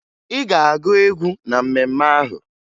Ị ga-agụ egwu na mmemme ahụ!